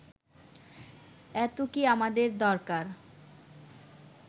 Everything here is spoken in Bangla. এত কি আমাদের দরকার